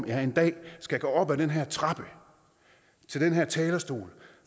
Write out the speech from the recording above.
jeg en dag skal gå op ad den her trappe til den her talerstol